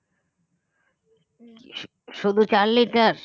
শুধু চার liter